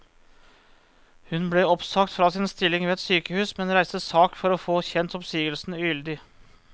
Hun ble oppsagt fra sin stilling ved et sykehus, men reiste sak for å få kjent oppsigelsen ugyldig.